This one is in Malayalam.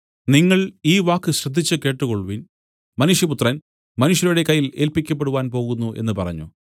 നിങ്ങൾ ഈ വാക്ക് ശ്രദ്ധിച്ചു കേട്ടുകൊൾവിൻ മനുഷ്യപുത്രൻ മനുഷ്യരുടെ കയ്യിൽ ഏല്പിക്കപ്പെടുവാൻ പോകുന്നു എന്നു പറഞ്ഞു